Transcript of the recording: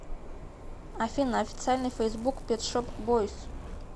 афина официальный фейсбук пет шоп бойз